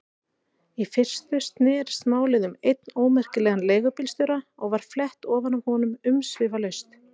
Í fyrstu snerist málið um einn ómerkilegan leigubílstjóra og var flett ofan af honum umsvifalaust.